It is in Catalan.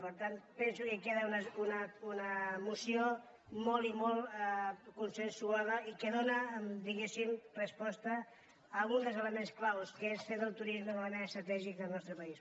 per tant penso que queda una moció molt i molt consensuada i que dóna diguéssim resposta a un dels elements clau que és fer del turisme un element estratègic del nostre país